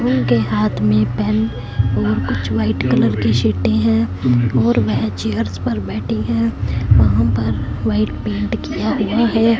उनके हाथ में पेन और कुछ व्हाइट कलर की शीटें हैं और वह चेयर्स पर बैठी है वहां पर वाइट पेंट किया हुआ है।